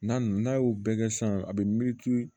N'an n'a y'o bɛɛ kɛ sisan a bɛ miiri